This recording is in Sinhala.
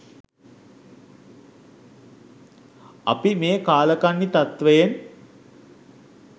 අපි මේ කාලකන්ණි තත්වයෙන්